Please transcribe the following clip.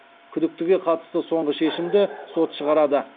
күдіктіге қатысты соңғы шешімді сот шығарады